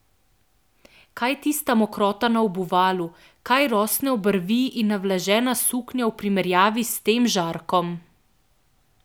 Kaj je tista mokrota na obuvalu, kaj rosne obrvi in navlažena suknja v primerjavi s tem žarkom!